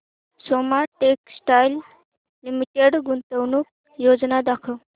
Soma textile limited गुंतवणूक योजना दाखव